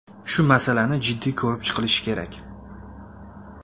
Shu masalani jiddiy ko‘rib chiqilishi kerak.